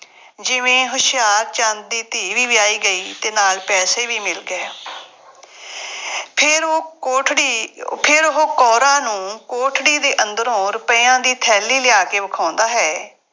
ਜਿਵੇਂ ਹੁਸ਼ਿਆਰਚੰਦ ਦੀ ਧੀ ਵੀ ਵਿਆਹੀ ਗਈ ਅਤੇ ਨਾਲ ਪੈਸੇ ਵੀ ਮਿਲ ਗਏ। ਫੇਰ ਉਹ ਕੋਠੜੀ, ਫੇਰ ਉਹ ਕੌਰਾਂ ਨੂੰ ਕੋਠੜੀ ਦੇ ਅੰਦਰੋਂ ਰੁਪਇਆ ਦੀ ਥੈਲੀ ਲਿਆ ਕੇ ਵਿਖਾਉਂਦਾ ਹੈ,